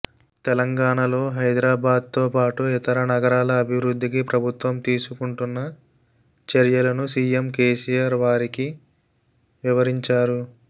తెలంగాణలో హైదరాబాద్తో పాటు ఇతర నగరాల అభివృద్ధికి ప్రభుత్వం తీసుకుంటున్న చర్యలను సీఎం కేసీఆర్ వారికి వివరించారు